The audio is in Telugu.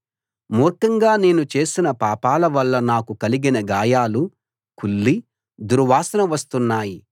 మూర్ఖంగా నేను చేసిన పాపాల వల్ల నాకు కలిగిన గాయాలు కుళ్ళి దుర్వాసన వస్తున్నాయి